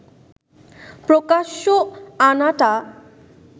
প্রকাশ্যে আনাটা